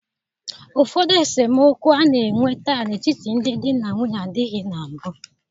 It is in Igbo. Ụfọdụ esemokwu a na-enwe taa n'etiti ndị di na nwunye adịghị na mbụ.